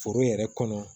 Foro yɛrɛ kɔnɔ